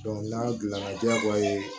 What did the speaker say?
n'a gilanna jagoya ye